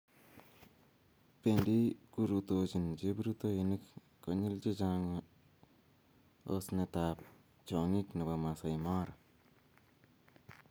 bendi kurutochini cheprutoinik konyil che chang' osnetab chong'ik nebo Maasai Mara.